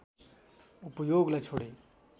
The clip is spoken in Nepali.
उपयोगलाई छोडे